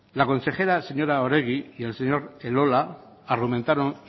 la consejera señora oregi y el señor elola argumentaron